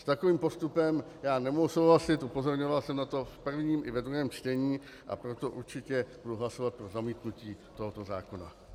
S takovým postupem já nemohu souhlasit, upozorňoval jsem na to v prvním i ve druhém čtení, a proto určitě budu hlasovat pro zamítnutí tohoto zákona.